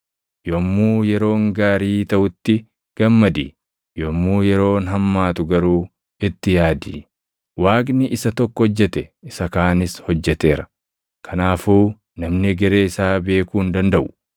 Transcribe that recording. Yommuu yeroon gaarii taʼutti gammadi; yommuu yeroon hammaatu garuu itti yaadi: Waaqni isa tokko hojjete isa kaanis hojjeteera. Kanaafuu namni egeree isaa beekuu hin dandaʼu.